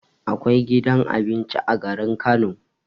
Akwai gidan abinci a garin Kano